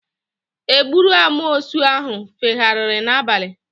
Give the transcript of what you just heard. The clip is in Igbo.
Egburu amoosu ahụ fegharịrị n'abalị